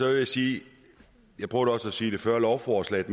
jeg sige jeg prøvede også sige det før at lovforslaget